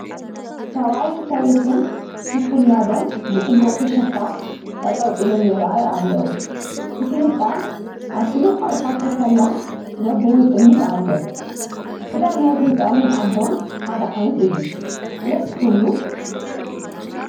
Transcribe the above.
ሰብኣይ ሰበይቲ ምስ ውላዶም ብፅቡቕ ፍሽኽታ ጠጠው ኢሎም ይረኣዩ ኣለዉ ፡ እቲ ህፃን ኣዲኡ ሓቒፋቶ ኽላ ነኣቡኡ ይጥምት ኣሎ ። ኽዳን ናይት ህፃንን ኣቦን ሓደ ዓይነት እዩ ደስ ክብሉ !